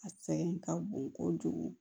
A sɛgɛn ka bon kojugu